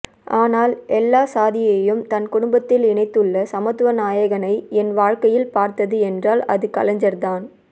ஆனால் எல்லாச்சாதியையும் தன் குடும்பத்தில் இனைத்துள்ள சமத்துவ நாயகனை என் வாழ்க்கையில் பார்த்தது என்றால் அது கலைஜர் தான்